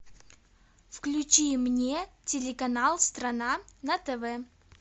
включи мне телеканал страна на тв